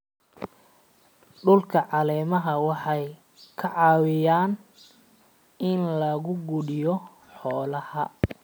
Dhulka caleemaha waxay ka caawiyaan in la quudiyo xoolaha.